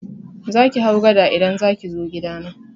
Zaki hau gada idan zaki zo gidana.